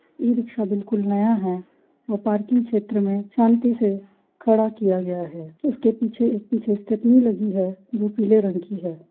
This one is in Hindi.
इ रिक्शा बिल्कुल नया है और पार्किंग क्षेत्र में शांति से खड़ा किया गया है उसके पीछे एक पीछे स्टेपनी लगी है जो पीले रंग की है।